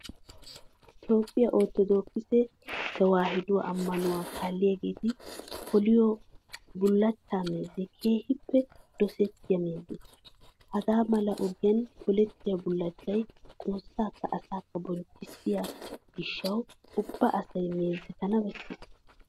Toophphiya orttodookise tewaahiduwa ammanuwa kaalliyageeti poliyo bullachchaa meezee keehippe dosettiya meeze. Hagaa mala ogiyan polettiya bullachchay xoossaakka asaakko bonchchissiyo gishshawu ubba asay meezetana bessees.